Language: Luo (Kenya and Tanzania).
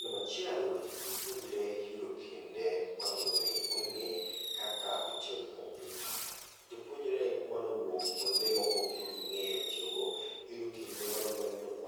Nambachiel, jopuonjre yudo kinde mar mondo mi ong'e kaka itiyo gi kompyuta. Jopuonjre manowuok kuonde ma poke ging'eyo tiyogo, giyudo kinde mar